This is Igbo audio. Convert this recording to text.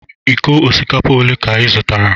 Iko osikapa ole ka ị zụtara?